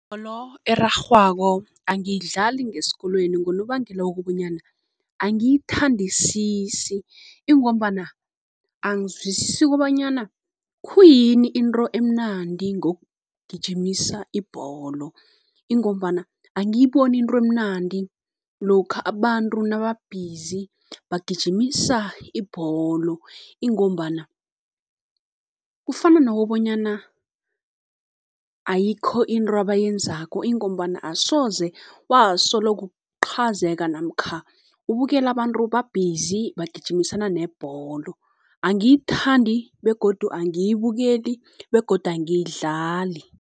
Ibholo erarhwako angiyidlali ngesikolweni ngonobangela wokobanyana angiyithandisisi, ingombana angizwisisi kobonyana khuyini into emnandi ngokugijimisa ibholo, ingombana angiyiboni into emnandi lokha abantu naba-busy bagijimisa ibholo. Ingombana kufana nokobonyana ayikho into abayenzako, ingombana asoze wasoloko uqhazeka namkha ubukela abantu ba-busy bagijimisana nebholo, angiyithandi begodu angiyibukeli begodu angiyidlali.